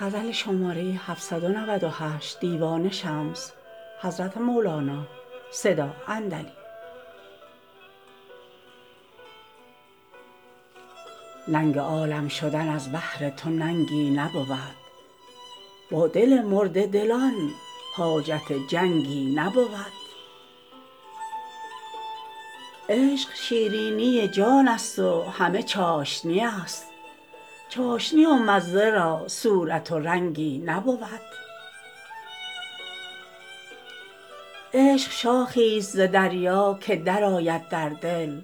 ننگ عالم شدن از بهر تو ننگی نبود با دل مرده دلان حاجت جنگی نبود عشق شیرینی جانست و همه چاشنی است چاشنی و مزه را صورت و رنگی نبود عشق شاخیست ز دریا که درآید در دل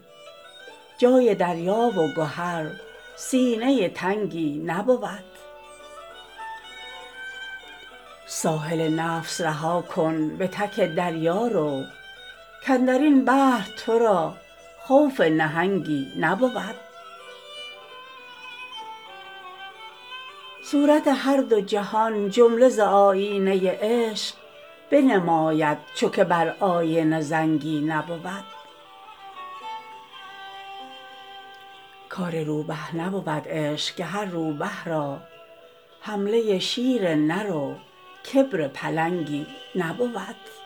جای دریا و گهر سینه تنگی نبود ساحل نفس رها کن به تک دریا رو کاندر این بحر تو را خوف نهنگی نبود صورت هر دو جهان جمله ز آیینه عشق بنماید چو که بر آینه زنگی نبود کار روبه نبود عشق که هر روبه را حمله شیر نر و کبر پلنگی نبود